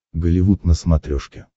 голливуд на смотрешке